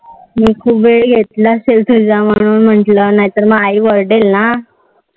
मी खूप वेळ घेतला तुझा म्हणून म्हटल नाहीतर आई वरडेल ना.